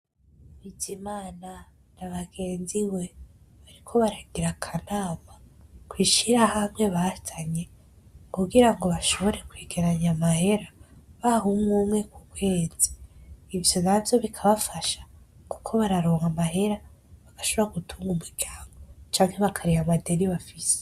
Bizimana na bagenzi we bariko baragira akanama kw'ishirahamwe bazanye kugira ngo boshobore kwegeranya amahera baha umwe umwe ku kwezi, ivyo navyo bikabafasha kuko bararonka amahera bagashobora gutunga umuryango canke bakariha amadeni bafise.